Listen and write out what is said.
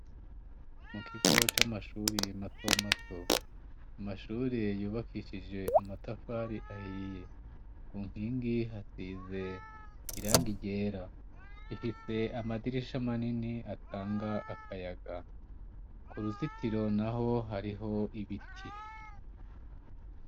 Mu kigo c'amashuri matomato amashuri yubakishije amatafari ahiye ngu nkingi hasize iranga iryera ifise amadirisha manini atanga akayaga ku ruzitiro na ho hariho ibiti.